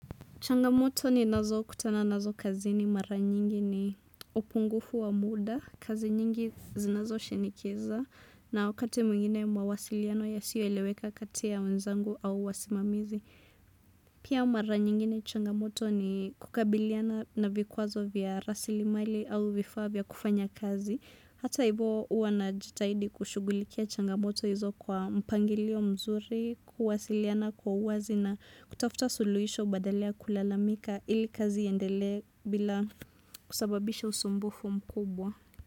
Changamoto ni nazo kutana nazo kazi ni mara nyingi ni upungufu wa muda, kazi nyingi zinazo shinikiza, na wakati mwingine mawasiliano yasiyo eleweka kati ya wenzangu au wasimamizi. Pia mara nyingine changamoto ni kukabiliana na vikuazo vya rasilimali au vifaa vya kufanya kazi. Hata hivyo hua najitahidi kushugulikia changamoto hizo kwa mpangilio mzuri, kuwasiliana kwa uwazi na kutafuta suluhisho badala ya kulalamika ili kazi iyendele bila kusababisha usumbufu mkubwa.